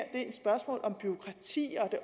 er et spørgsmål om bureaukrati